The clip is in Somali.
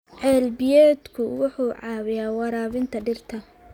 Ceel biyoodku wuxuu caawiyaa waraabinta dhirta.